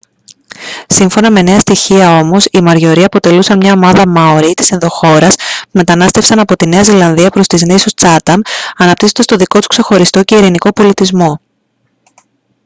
σύμφωνα με νέα στοιχεία όμως οι μοριορί αποτελούσαν μια ομάδα μάορι της ενδοχώρας που μετανάστευσαν από τη νέα ζηλανδία προς τις νήσους τσάταμ αναπτύσσοντας τον δικό τους ξεχωριστό και ειρηνικό πολιτισμό